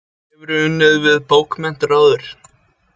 Hefur þú unnið við bókmenntir áður?